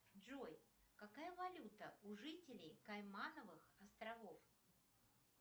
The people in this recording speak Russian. джой какая валюта у жителей каймановых островов